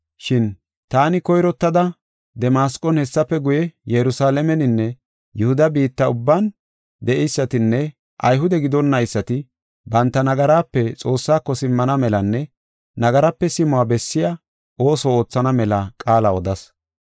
Shin taani koyrottada Damasqon hessafe guye Yerusalaameninne Yihuda biitta ubban de7eysatinne Ayhude gidonnaysati banta nagaraape Xoossaako simmana melanne nagaraape simuwa bessiya ooso oothana mela qaala odas.